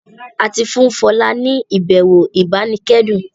A tí fún Fola ní ibẹwò ibanikẹdun